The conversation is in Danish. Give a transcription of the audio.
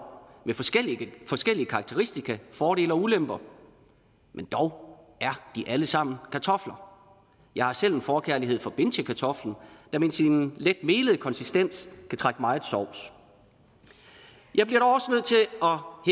med forskellige forskellige karakteristika fordele og ulemper men dog er de alle sammen kartofler jeg har selv en forkærlighed for bintjekartoflen der med sin let melede konsistens kan trække meget sovs jeg bliver